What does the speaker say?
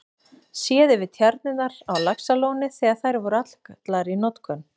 Séð yfir tjarnirnar á Laxalóni þegar þær voru allar í notkun.